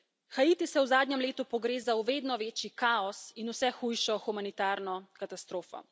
Haiti se v zadnjem letu pogreza v vedno večji kaos in vse hujšo humanitarno katastrofo.